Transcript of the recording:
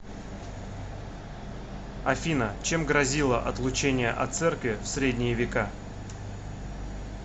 афина чем грозило отлучение от церкви в средние века